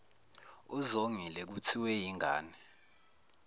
uzongile kuthiwe yingane